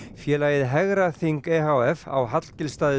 félagið e h f á